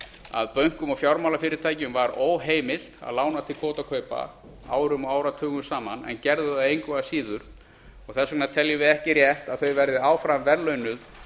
að bönkum og fjármálafyrirtækjum var óheimilt að lána til kvótakaupa árum og áratugum saman en gerðu það engu að síður þess vegna teljum við ekki rétt að þau verði áfram verðlaunuð